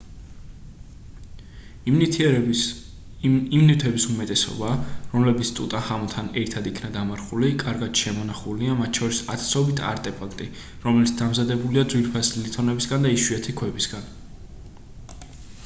იმ ნივთების უმეტესობა რომლებიც ტუტანხამონთან ერთად იქნა დამარხული კარგად შემონახულია მათ შორის ათასობით არტეფაქტი რომელიც დამზადებულია ძვირფასი ლითონებისგან და იშვიათი ქვებისგან